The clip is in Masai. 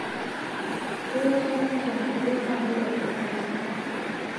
Keyieu shakenisho naitodolu ajo olenye olchamba